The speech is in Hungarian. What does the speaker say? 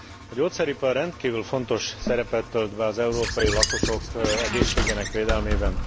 A gyógyszeripar rendkívül fontos szerepet tölt be az európai lakosok egészségnek védelmében.